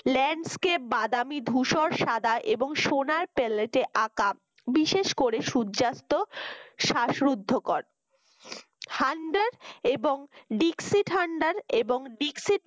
landscape বাদামি ধূসর সাদা এবং সোনার palette আঁকা বিশেষ করে সূর্যাস্ত শ্বাসরুদ্ধকর হান্ডার এবং দীক্ষিত হান্ডার এবং দীক্ষিত